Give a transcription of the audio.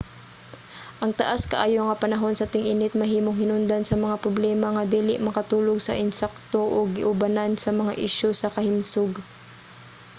ang taas kaayo nga panahon sa ting-init mahimong hinungdan sa mga problema nga dili makatulog sa insakto ug giubanan sa mga isyu sa kahimsog